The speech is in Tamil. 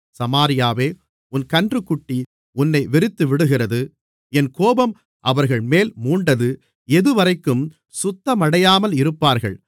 சமாரியாவே உன் கன்றுக்குட்டி உன்னை வெறுத்துவிடுகிறது என் கோபம் அவர்கள்மேல் மூண்டது எதுவரைக்கும் சுத்தமடையாமல் இருப்பார்கள்